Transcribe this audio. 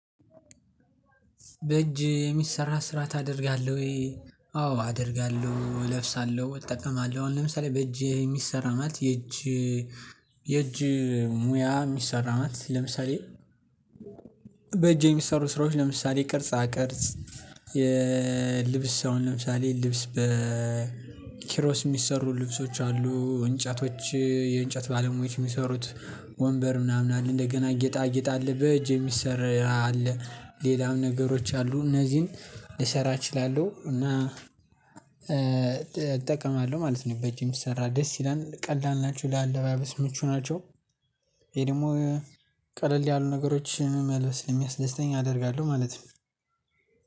በእጅ የሚሰራ ስራ ታደርጋለህ ወይ? አዎ አደርጋለሁ እለብሳለሁ እጠቀማለሁ አሁን ለምሳሌ በእጅ የሚሰራ ማለት የእጅ የእጅ ሙያ እሚሰራ ማት ለምሳሌ። በእጅ የሚሰሩ ስራዎች ለምሳሌ ቅርጻ ቅርጽ። የልብስ አሁን ለምሳሌ ልብስ በ ኪሮስ እሚሰሩ ልብሶች አሉ እንጨቶች የእንጨት ባለሙያዎች እሚሰሩት ወንበር ምናምን አለ እንደገና ጌጣጌጥ አለ በእጅ የሚሰራ አለ ሌላም ነገሮች አሉ። እነዚህን ልሰራ እችላለሁ እና እጠቀማለሁ ማለት ነው። በእጅ የሚሰራ ደስ ይላል ቀላል ናቸው ለአለባበስ ምቹ ናቸው። ይሄ ደግሞ ቀለል ያሉ ነገሮችን መልበስ ስለሚያስደስተኝ አደርጋለሁ ማለት ነው።